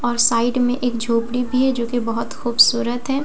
और साइड में एक झोपड़ी भी है जो कि बहुत खूबसूरत है और--